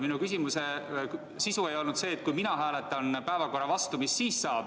Minu küsimuse sisu ei olnud see, et kui mina hääletan päevakorra vastu, mis siis saab.